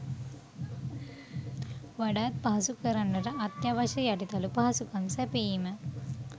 වඩාත් පහසු කරන්නට අත්‍යවශ්‍ය යටිතල පහසුකම් සැපයීම